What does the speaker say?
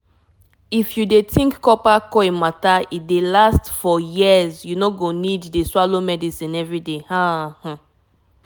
if u put coil um e go um last for som years no be that everi day medicine mata. like asin eeh!